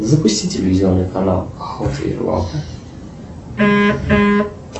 запусти телевизионный канал